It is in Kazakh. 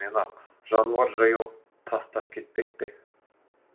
мені ақ жануар жаяу тастап кетпек пе